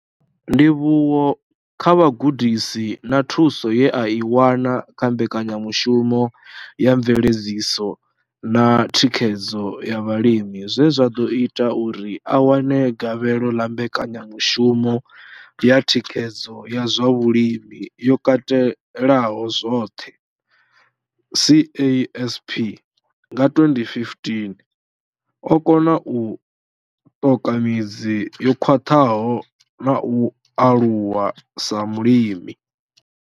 Ndivhuwo kha vhugudisi na thuso ye a i wana kha mbekanyamushumo ya mveledziso na thikhedzo ya vhalimi zwe zwa ḓo ita uri a wane gavhelo ḽa mbekanyamushumo ya thikhedzo ya zwa vhulimi yo katelaho zwoṱhe CASP nga 2015, o kona u ṱoka midzi yo khwaṱhaho na u aluwa sa mulimi.